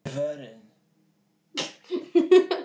Elsku Inga er farin.